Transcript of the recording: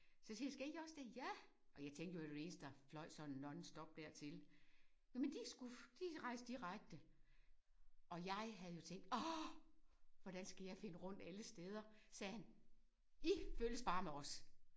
Så siger jeg skal I også det ja og jeg tænkte jo vi var de eneste der løj sådan nonstop dertil jamen de skulle de rejste direkte og jeg havde jo tænkt åh hvordan skal jeg finde rundt alle steder så sagde han I følges bare med os